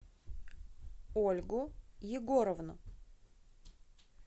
ольгу егоровну